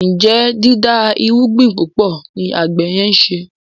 Njé dida irúgbìn púpọ ní àgbè yen nṣe?